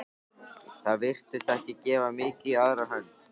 Það virtist ekki gefa mikið í aðra hönd.